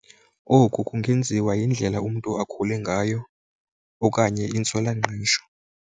Oku kungenziwa yindlela umntu akhule ngayo okanye intswelangqesho.